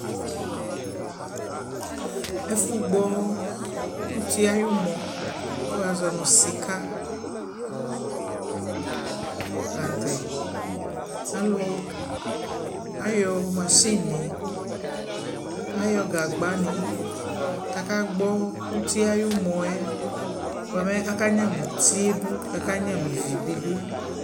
ɛfʋ gbɔ ʋti ayʋmɔ kʋ wazɔnʋ sika lantɛ alʋ ayɔ mashini, ayɔ gagbani, kʋ aka gbɔ ʋtiɛ ayi ʋmɔɛ, bʋɛmɛ aka nyama ʋtiɛ dʋ kʋ aka nyama ivi bi dʋ